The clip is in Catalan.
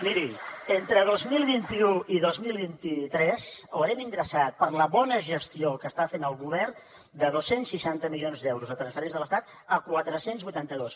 miri entre dos mil vint u i dos mil vint tres haurem ingressat per la bona gestió que està fent el govern de dos cents i seixanta milions d’euros de transferències de l’estat a quatre cents i vuitanta dos